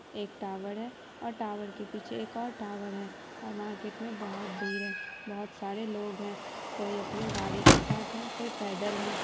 एक टावर है और टावर के पीछे एक और टावर है। और मार्केट में बोहत भीड़ है। बोहत सारे लोग है कोई अपने गाडी के साथ है कोई पैदल है।